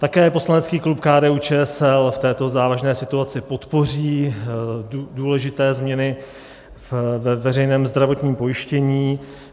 Také poslanecký klub KDU-ČSL v této závažné situaci podpoří důležité změny ve veřejném zdravotní pojištění.